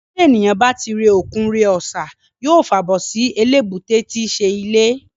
Tí èniyàn bá ti re òkun re ọ̀sà, yóò fàbọ̀ sí eléébúté tíí ṣe ilé